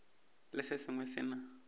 le se sengwe se na